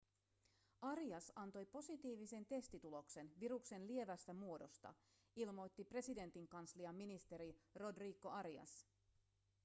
arias antoi positiivisen testituloksen viruksen lievästä muodosta ilmoitti presidentinkanslian ministeri rodrigo arias